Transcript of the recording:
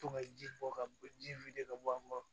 To ka ji bɔ ka bɔ ji wuli ka bɔ an ma